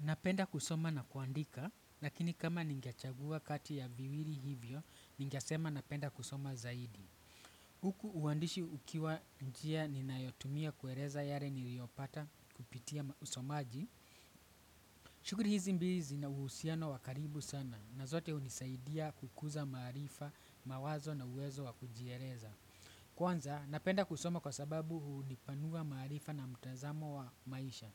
Napenda kusoma na kuandika, lakini kama ningechagua kati ya viwilihivyo, ningesema napenda kusoma zaidi. Huku uandishi ukiwa njia ninayotumia kueleza yale niliopata kupitia usomaji. Shughuli hizi mbili zina uhusiano wa karibu sana, na zote hunisaidia kukuza maarifa, mawazo na uwezo wa kujieleza. Kwanza napenda kusoma kwa sababu hunipanua maarifa na mtazamo wa maisha.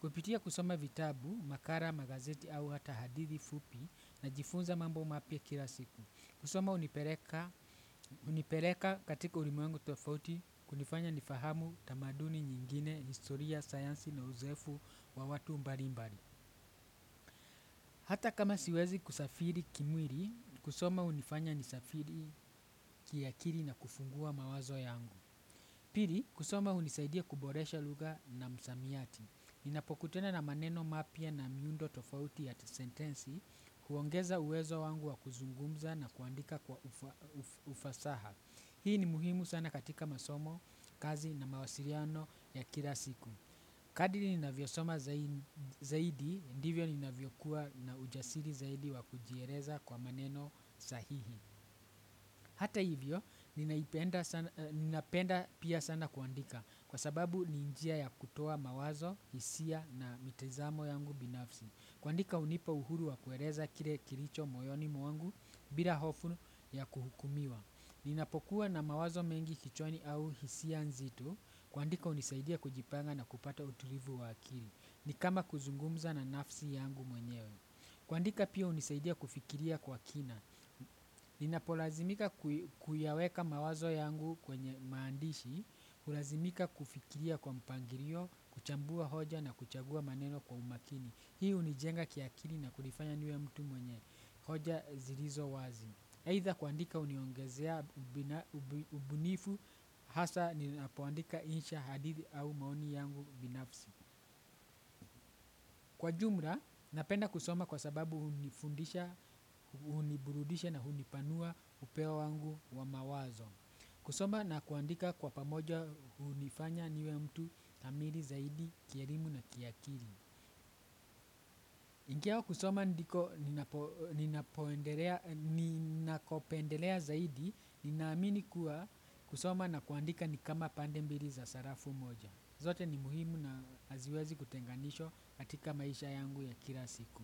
Kupitia kusoma vitabu, makala, magazeti au hata hadithi fupi najifunza mambo mapya kila siku. Kusoma hunipeleka katika ulimwengu tofauti kunifanya nifahamu tamaduni nyingine historia, sayansi na uzoefu wa watu mbalimbali. Hata kama siwezi kusafiri kimwili, kusoma hunifanya nisafiri kiakili na kufungua mawazo yangu. Pili, kusoma hunisaidia kuboresha lugha na msamiati. Ninapokutana na maneno mapya na miundo tofauti ya sentensi, huongeza uwezo wangu wa kuzungumza na kuandika kwa ufasaha. Hii ni muhimu sana katika masomo, kazi na mawasiliano ya kila siku. Kadri ninavyosoma zaidi, ndivyo ninavyokuwa na ujasiri zaidi wa kujieleza kwa maneno sahihi. Hata hivyo ninaipenda sana, ninapenda pia sana kuandika kwa sababu ni njia ya kutoa mawazo, hisia na mitizamo yangu binafsi. Kuandika hunipa uhuru wa kueleza kile kilicho moyoni mwangu, bila hofu ya kuhukumiwa. Ninapokuwa na mawazo mengi kichwani au hisia nzito, kuandika hunisaidia kujipanga na kupata utulivu wa akili. Ni kama kuzungumza na nafsi yangu mwenyewe. Kuandika pia hunisaidia kufikiria kwa kina. Ninapolazimika kuyaweka mawazo yangu kwenye maandishi kulazimika kufikiria kwa mpangilio, kuchambua hoja na kuchagua maneno kwa umakini. Hii hunijenga kiakili na kunifanya niwe mtu mwenye hoja zilizo wazi aidha kuandika uniongezea ubunifu hasa ninapoandika insha hadithi au maoni yangu binafsi. Kwa jumla, napenda kusoma kwa sababu hunifundisha, huniburudisha na hunipanua upeo wangu wa mawazo. Kusoma na kuandika kwa pamoja hunifanya niwe mtu kamili zaidi, kielimu na kiakili. Ingawa kusoma ndiko ninapoendelea ninakopendelea zaidi ninamini kuwa kusoma na kuandika ni kama pande mbili za sarafu moja. Zote ni muhimu na haziwezi kutenganishwa katika maisha yangu ya kila siku.